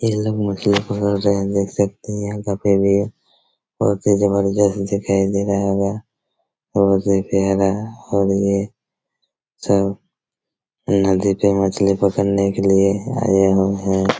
ये लोग मुखिया को बोल रहे हैं देख सकते हैं यहाँ काफी भीड़ हैं बहुत ही जबरदस्त दिखाई दे रहा होगा और ये सब नदी पे मछली पकड़ने के लिए आए हुए हैं।